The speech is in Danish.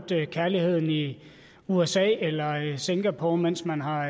kærligheden i usa eller singapore mens man har